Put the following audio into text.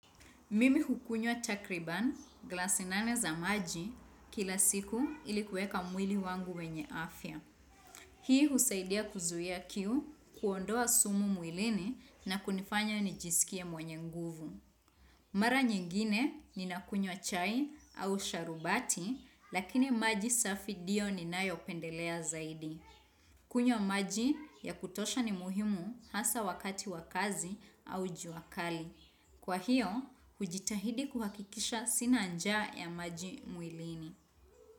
Mimi hukunywa takribani, glasi nane za maji, kila siku ili kuweka mwili wangu wenye afya. Hii husaidia kuzuia kiu, kuondoa sumu mwilini na kunifanya nijisikie mwenye nguvu. Mara nyingine ninakunywa chai au sharubati, lakini maji safi ndio ninayopendelea zaidi. Kunywa maji ya kutosha ni muhimu hasa wakati wa kazi au jua kali. Kwa hiyo, hujitahidi kuhakikisha sina njaa ya maji mwilini.